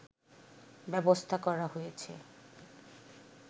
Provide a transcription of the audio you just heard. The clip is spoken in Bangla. ব্যবস্থা করা হয়েছে